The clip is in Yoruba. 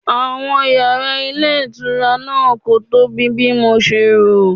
Àwọn yàrá ilé ìtura náà kò tóbi bí mo ṣe rò.